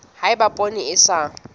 ha eba poone e sa